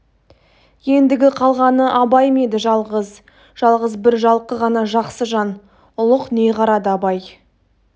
ендігі қалғаны абай ма еді жалғыз жалғыз бір жалқы ғана жақсы жан ұлық не қарады абай